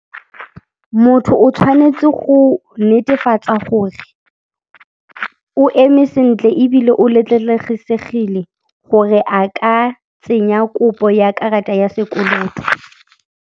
Motho o tshwanetse go netefatsa gore o eme sentle ebile o letlelegesegile gore a ka tsenya kopo ya karata ya sekoloto.